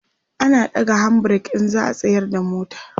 ana ɗaga hand break in za'a tsayar da mota